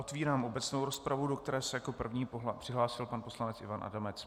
Otevírám obecnou rozpravu, do které se jako první přihlásil pan poslanec Ivan Adamec.